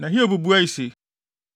Na Hiob buae se,